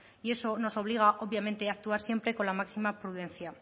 y eso nos obliga obviamente a actuar siempre con la máxima prudencia